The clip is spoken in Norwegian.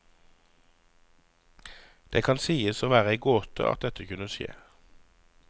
Det kan sies å være ei gåte at dette kunne skje.